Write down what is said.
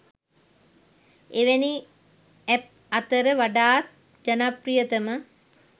එවැනි ඇප් අතර වඩාත් ජනප්‍රියතම